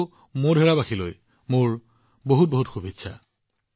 আৰু মোধেৰাৰ সকলো লোকলৈ মোৰ প্ৰণাম